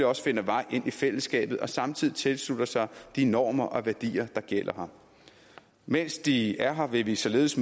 også finder vej ind i fællesskabet og samtidig tilslutter sig de normer og værdier der gælder her mens de er her vil vi således